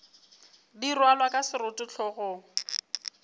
di rwalwa ka seroto hlogong